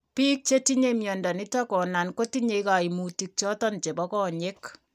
Biik chetinye mnyondo niton konan kotinye kaimutik choton chebo konyek